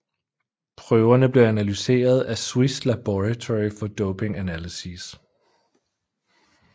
Prøverne blev analyseret af Swiss Laboratory for Doping Analyses